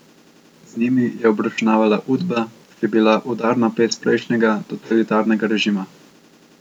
Z njimi je obračunavala Udba, ki je bila udarna pest prejšnjega, totalitarnega režima.